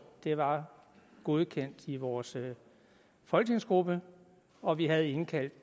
var godkendt i vores folketingsgruppe og vi havde indkaldt